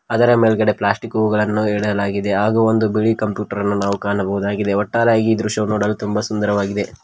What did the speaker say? ಅದರ ಮೇಲ್ಗಡೆ ಪ್ಲಾಸ್ಟಿಕ್ ಗಳನ್ನು ಇಡಲಾಗಿದೆ ಹಾಗೂ ಬಿಳಿ ಕಂಪ್ಯೂಟರ್ ಅನ್ನು ನಾವು ಕಾಣಬಹುದಾಗಿದೆ ಒಟ್ಟಾರೆಯಾಗಿ ಈ ದೃಶ್ಯ ತುಂಬಾ ಸುಂದರವಾಗಿದೆ.